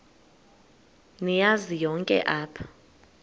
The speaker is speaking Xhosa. niyazi nonk apha